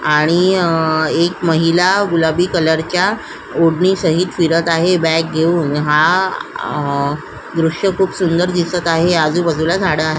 आणि आ एक महिला गुलाबी कलरच्या ओढणी सहित पिरत आहे बॅग घेऊन हा आ दृश्य खुप सुंदर दिसत आहे आजुबाजुला झाड दिसत आ --